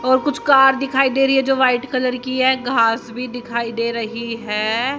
और कुछ कार दिखाई दे रही है जो व्हाइट कलर की है घास भी दिखाई दे रही है।